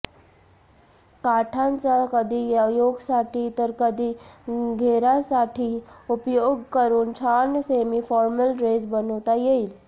काठांचा कधी योकसाठी तर कधी घेरासाठी उपयोग करून छान सेमीफॉर्मल ड्रेस बनवता येईल